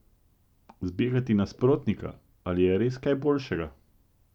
Zbegati nasprotnika, ali je res kaj boljšega?